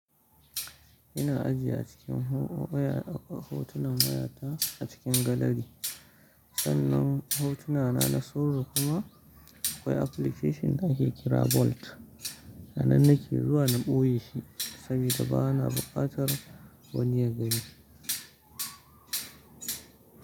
Ina ajiye a cikin ho-waya a hotunan wayata a cikin gallery. Sannan hotuna na na sirri kuma akwai application nake kira Bolt. Anannake zuwa na ɓoye shi saboda ba na buƙatar wani ya gani.